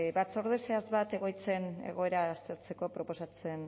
batzorde zehatz bat egoitzen egoera aztertzeko proposatzen